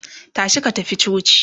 tashi ka tafi coci!